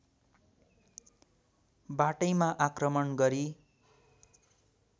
बाटैमा आक्रमण गरी